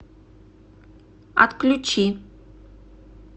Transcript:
отключи